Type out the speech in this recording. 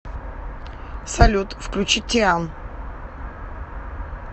салют включи тиан